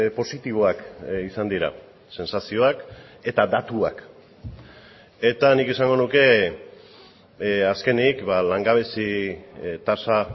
positiboak izan dira sentsazioak eta datuak eta nik esango nuke azkenik langabezi tasa